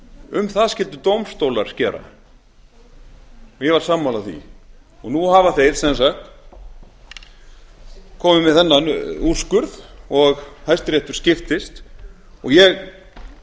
um það skyldu dómstólar skera og ég var sammála því nú hafa þeir sem sagt komið með þennan úrskurð og hæstiréttur skiptist og ég